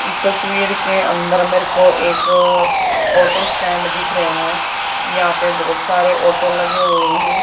इस तस्वीर के अंदर मेरे को एक ऑटो स्टैंड दिख रिया है यहां पे बहुत सारे ऑटो लगे हुए हैं।